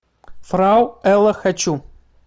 фрау элла хочу